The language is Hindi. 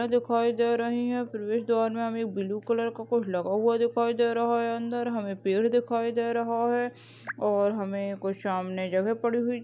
-- दिखाई दे रही है प्रवेश द्वार में हमें एक ब्लू कलर का कुछ लगा हुआ दिखाई दे रहा है अंदर हमें पेड़ दिखाई दे रहा है और हमें कोई सामने जगह पड़ी हुई--